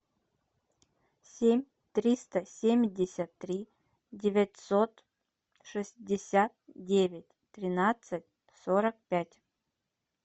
семь триста семьдесят три девятьсот шестьдесят девять тринадцать сорок пять